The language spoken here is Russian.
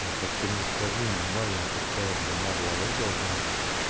ну так ты мне скажи минимальная какая длина волос должна быть